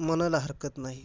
मनाला हरकत नाही.